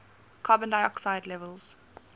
carbon dioxide levels